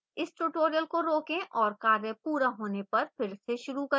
इस tutorial को रोकें और कार्य पूरा होने पर फिर से शुरू करें